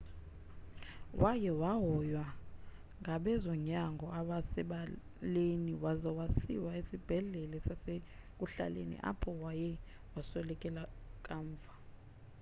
waye wahoywa ngabezonyango abasebaleni waza wasiwa esibhedlele sasekuhlaleni apho waye waswelekela kamva